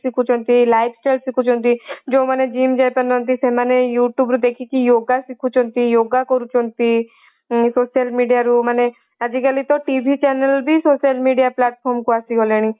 ଶିଖୁଛନ୍ତି life style ଶିଖୁଛନ୍ତି ଯେଉଁମାନେ gym ଯାଇ ପାରୁନାହାନ୍ତି ସେମାନେ youtube ରୁ ଦେଖିକି ୟୋଗା ଶିଖୁଛନ୍ତି ୟୋଗା କରୁଛନ୍ତି social media ରୁ ମନେ ଆଜି କାଲି ତ TV କୁ channel ବି social media କୁ ଆସି ଗଲାଣି